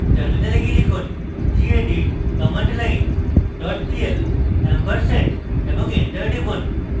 terminal গিয়ে লিখুন: gedit commandline pl ampersand এবং enter টিপুন